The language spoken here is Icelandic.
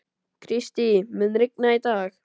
Kristý, mun rigna í dag?